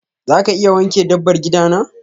za ka iya wanke dabbar gida na?